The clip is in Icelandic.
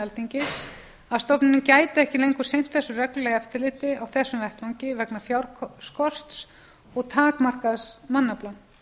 alþingis að stofnunin gæti ekki lengur sinnt reglulegu eftirliti á þessum vettvangi vegna fjárskorts og takmarkaðs mannafla